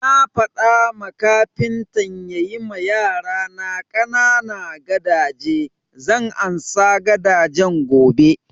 Na faɗa ma kafintan ya yi ma yarana ƙanana gadaje, zan ansa gadajen gobe